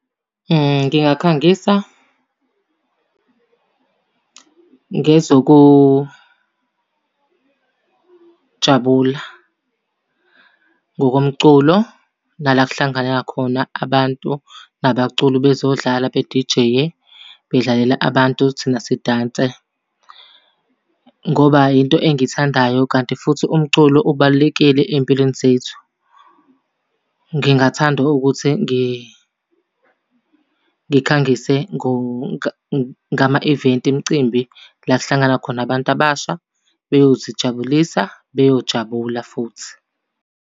Ngingakhangisa ngezokujabula, ngokomculo, nala okuhlangana khona abantu nabaculi bezodlala bedijeye, bedlalela abantu thina sidanse. Ngoba yinto engiyithandayo kanti futhi umculo ubalulekile ey'mpilweni zethu. Ngingathanda ukuthi ngikhangise ngama-event emcimbi, la ekuhlangana khona abantu abasha beyozijabulisa, beyojabula futhi.